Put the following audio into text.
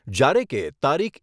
જ્યારે કે તારીખ